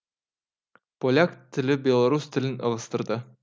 поляк тілі белорус тілін ығыстырды